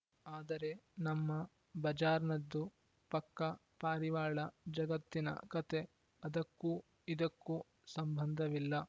ಆದರೆ ನಮ್ಮ ಬಜಾರ್‌ನದ್ದು ಪಕ್ಕಾ ಪಾರಿವಾಳ ಜಗತ್ತಿನ ಕತೆ ಅದಕ್ಕೂ ಇದಕ್ಕೂ ಸಂಬಂಧವಿಲ್ಲ